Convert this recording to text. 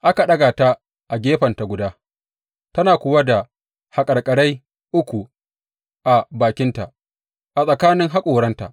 Aka ɗaga ta a gefenta guda, tana kuwa da haƙarƙarai uku a bakinta a tsakanin haƙoranta.